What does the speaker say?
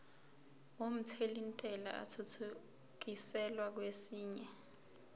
omthelintela athuthukiselwa kwesinye